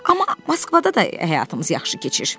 Amma Moskvada da həyatımız yaxşı keçir.